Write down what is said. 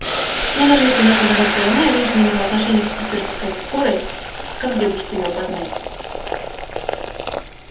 но даже если наша догадка верна и женщина имела отношение к питерской скорой как дедушка её опознает